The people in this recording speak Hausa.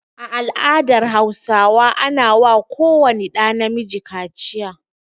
A al'adar Hausawa ana wa ko wani ɗa na miji kaciya.